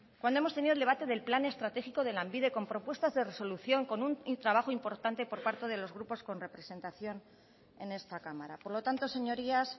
cuando hemos tenido el debate del plan estratégico de lanbide con propuestas de resolución con un trabajo importante por parte de los grupos con representación en esta cámara por lo tanto señorías